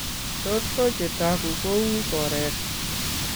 Tot ko chetooku kouu koreet